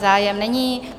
Zájem není.